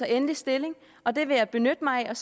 endelig stilling og det vil jeg benytte mig af